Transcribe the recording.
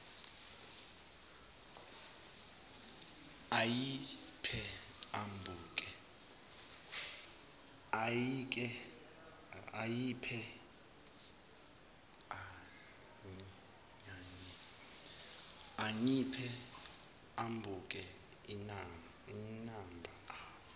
anyiphe ambuke imamba